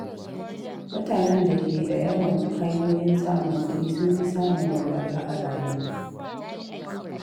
Mutanen da ke da yawan hanyoyin samun kuɗi sun fi samun walwala a rayuwa.